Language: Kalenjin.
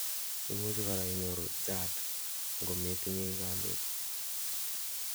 imuchi korak inyoru GERD angometinyei kalutik